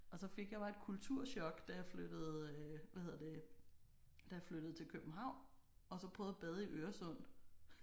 Og så fik jeg bare et kulturchok da jeg flyttede hvad hedder det da jeg flyttede til København og så prøvede at bade i Øresund